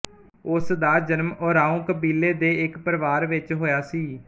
ਉਸਦਾ ਜਨਮ ਓਰਾਓਂ ਕਬੀਲੇ ਦੇ ਇੱਕ ਪਰਿਵਾਰ ਵਿੱਚ ਹੋਇਆ ਸੀ